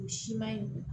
O siman in